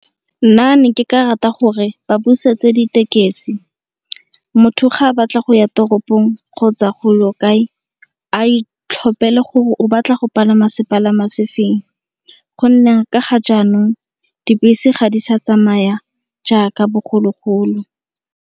Nna ne ke ka rata gore ba busetse dithekisi motho ga a batla go ya toropong kgotsa go lo kae a itlhophela gore o batla go palama sepalama sefeng. Go nne ka ga jaanong dibese ga di sa tsamaya jaaka bogologolo.